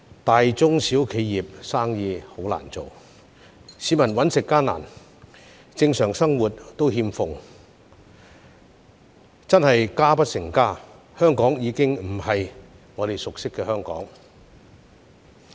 大、中、小企業經營困難，市民糊口艱難，正常生活欠奉，真是家不成家，香港已經不是我們熟悉的香港。